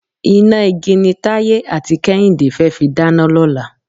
Iná igi ni Táyé àti Kẹ́hìndé fẹ́ fi dáná lọ́la.